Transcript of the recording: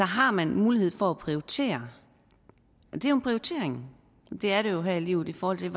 har man mulighed for at prioritere det er en prioritering det er det jo her i livet i forhold til